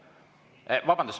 Vabandust!